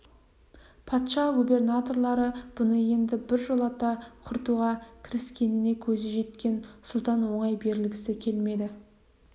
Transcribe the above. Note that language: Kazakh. патша губернаторлары бұны енді біржолата құртуға кіріскеніне көзі жеткен сұлтан оңай берілгісі келмеді